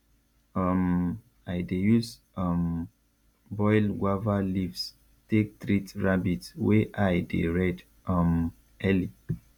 um i dey use um boil guava leaves take treat rabbit wey eye dey red um early